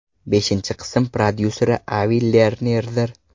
Beshinchi qism prodyuseri Avi Lernerdir.